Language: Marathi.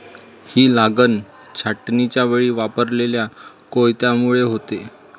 ही लागन छाटणीच्यावेळी वापरलेल्या कोयत्यामुळे होते.